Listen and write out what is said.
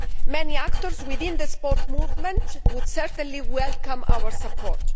Many actors within the sports movement would certainly welcome our support.